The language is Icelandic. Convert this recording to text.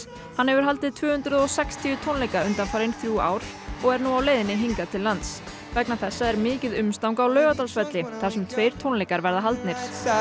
hann hefur haldið um tvö hundruð og sextíu tónleika undanfarin þrjú ár og er nú á leiðinni hingað til lands vegna þessa er mikið umstang á Laugardalsvelli þar sem tvennir tónleikar verða haldnir